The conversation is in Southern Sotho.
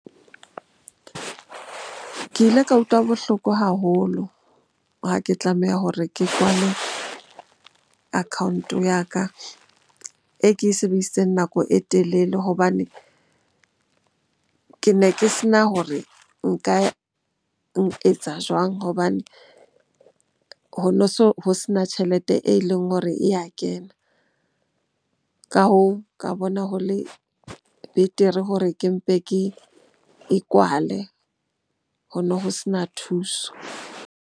Ke ile ka utlwa bohloko haholo ha ke tlameha hore ke kwale account-o ya ka e ke e sebedisitseng nako e telele. Hobane ke ne ke se na hore nka jwang hobane ho no so ho sena tjhelete e leng hore e ya kena. Ka hoo, ka bona ho le betere hore ke mpe ke e kwale. Ho no ho sena thuso.